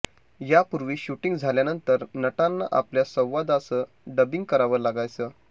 यापूर्वी शूटिंग झाल्यानंतर नटांना आपल्या संवादाचं डबिंग करावं लागायचं